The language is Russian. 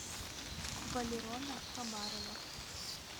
валерона хабарова